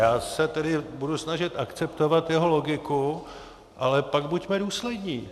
Já se tedy budu snažit akceptovat jeho logiku, ale pak buďme důslední.